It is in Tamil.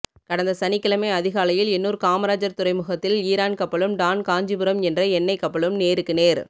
கடந்த சனிக்கிழமை அதிகாலையில் எண்ணூர் காமராஜர் துறைமுகத்தில் ஈரான் கப்பலும் டான் காஞ்சிபுரம் என்ற என்னை கப்பலும் நேருக்கு நேர்